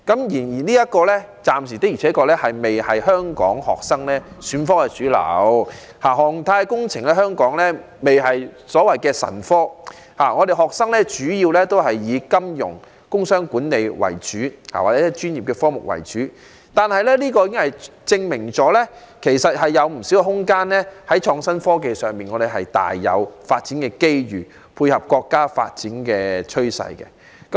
然而，這暫時的確仍未成為香港學生選科的主流，航太工程在香港仍未成為"神科"，學生主要仍是以金融、工商管理或專業科目為主，這證明社會仍有不少空間在創新科技上發展，配合國家發展的趨勢。